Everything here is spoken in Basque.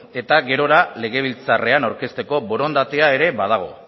eta gerora legebiltzarrean aurkezteko borondatea ere badago